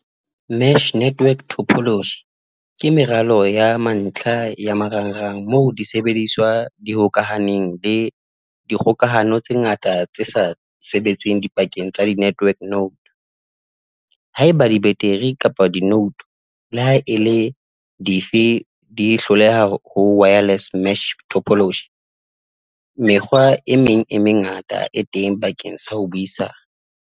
Match network topology ke meralo ya mantlha ya marang rang moo disebediswa di hokahaneng le dikgokahano tse ngata tse sa sebetseng dipakeng tsa di-network note, haeba dibeteri kapa di-note le ha e le dife di hloleha ho wireless mesh topology, mekgwa e meng e mengata e teng bakeng sa ho buisana.